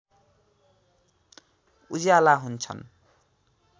उज्याला हुन्छन्